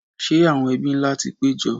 Ṣẹ́ àwọn ebí ńlá ti pé jọ?